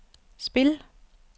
spil